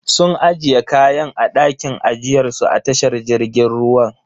Sun ajiye kayan a dakin ajiyar su a tashar jirgin ruwan.